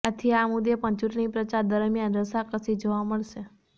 આથી આ મુદ્દે પણ ચુંટણીપ્રચાર દરમિયાન રસાકસી જોવા મળશે